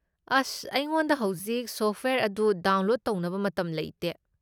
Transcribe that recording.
ꯑꯁ, ꯑꯩꯉꯣꯟꯗ ꯍꯧꯖꯤꯛ ꯁꯣꯐꯠꯋꯦꯌꯔ ꯑꯗꯨ ꯗꯥꯎꯟꯂꯣꯗ ꯇꯧꯅꯕ ꯃꯇꯝ ꯂꯩꯇꯦ꯫